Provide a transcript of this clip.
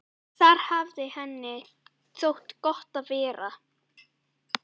Þar hafði henni þótt gott að vera.